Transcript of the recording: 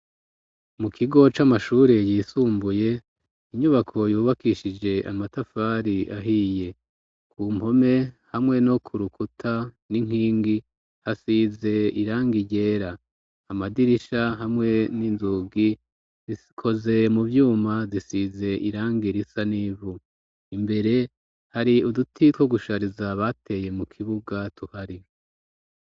Mu kigo c'amashuri yisumbuye inyubako yubakishije amatafari ahiye, ku mpome hamwe no ku rukuta n'inkingi hasize iranga igera amadirisha hamwe n'inzugi zikoze mu vyuma zisize irangi risa n'ivu, imbere hari uduti two gushariza bateye mu kibuga tuhari.